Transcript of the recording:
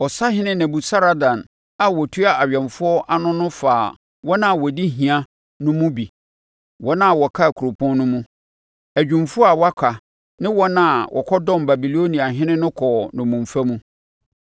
Ɔsahene Nebusaradan a ɔtua awɛmfoɔ ano no faa wɔn a wɔdi hia no mu bi, wɔn a wɔkaa kuropɔn no mu, adwumfoɔ a wɔaka ne wɔn a wɔkɔdɔm Babiloniahene no kɔɔ nnommumfa mu.